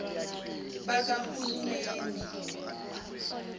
bakahulumeni